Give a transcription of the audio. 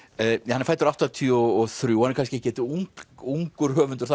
hann er fæddur áttatíu og þrjú hann er kannski ekkert ungur ungur höfundur